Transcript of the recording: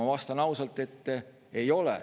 Ma vastan ausalt, et ei ole.